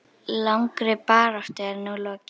Langri baráttu er nú lokið.